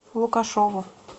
лукашову